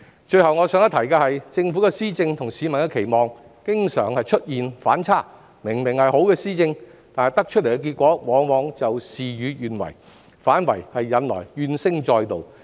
最後我想一提的是，政府的施政與市民的期望經常出現反差，明明是好的施政，但結果往往事與願違，引來怨聲載道。